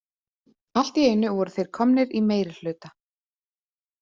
Allt í einu voru þeir komnir í meirihluta.